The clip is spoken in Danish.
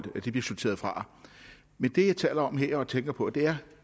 bliver sorteret fra men det jeg taler om her og tænker på er